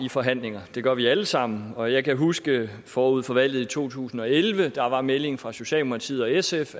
i forhandlinger det gør vi alle sammen og jeg kan huske forud for valget i to tusind og elleve at meldingen fra socialdemokratiet og sf